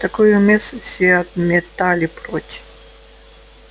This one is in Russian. такую мысль все отметали прочь